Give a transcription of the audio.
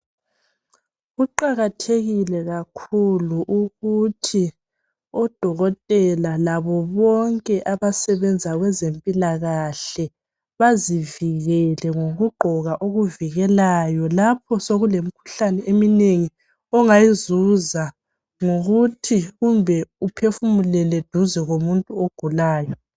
Kuqakathelile kakhulu ukuthi odokotela labo bonke abasebenza kwezempilakahle bazivikele ngokugqoko okuvikelayo lapho sokulemikhuhlane eminengi ongayizuza ngokuthi kumbe uphefumulele duze komuntu ogulayo .